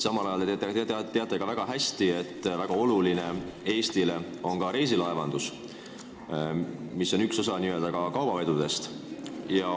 Samal ajal te teate väga hästi, et Eestile on väga oluline ka reisilaevandus, mis on üks osa n-ö kaubavedudest.